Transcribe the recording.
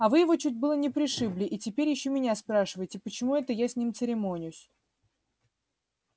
а вы его чуть было не пришибли и теперь ещё меня спрашиваете почему это я с ним церемонюсь